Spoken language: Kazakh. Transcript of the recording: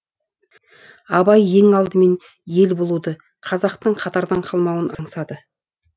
абай ең алдымен ел болуды қазақтың қатардан қалмауын аңсады